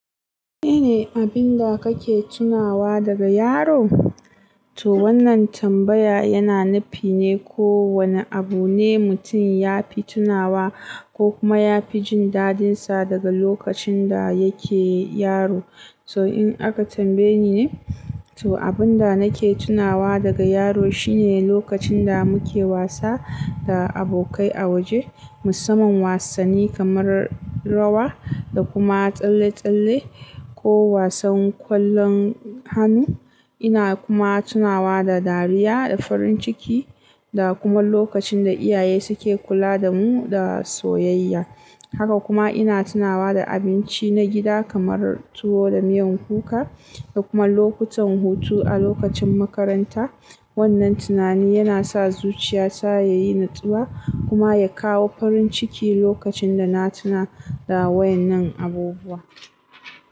Menene abin da kake tunawa daga yaro? To wannan tambaya yana nufi ne ko wane abu ne mutum ya fi tunawa ko kuma ya fi jin dadinsa daga lokacin da yake yaro. To in aka tambaye ni, to abin da nake tunawa daga yaro shine lokacin da muke wasa da abokai a waje, musamman wasanni kamar rawa da kuma tsalle-tsalle ko wasan kwallon hannu. Ina kuma tunawa da dariya da farin ciki da kuma lokacin da iyaye suke kula da mu da soyayya. Haka kuma ina tunawa da abinci na gida kamar tuwo da miyan kuka da kuma lokutan hutu a lokacin makaranta. Wannan tunani yana sa zuciya ta ta yi natsuwa kuma ya kawo farin ciki lokacin da na tuna da wadannan abubuwa.